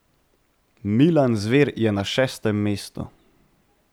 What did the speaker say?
Milan Zver je na šestem mestu.